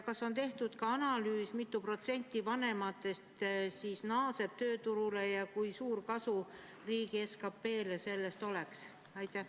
Kas on tehtud analüüs, mitu protsenti vanematest naaseb tööturule ja kui suur kasu riigi SKP-l sellest oleks?